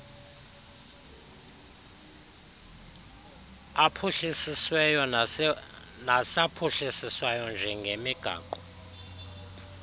aphuhlisisweyo nasaphuhliswayo njengemigaqo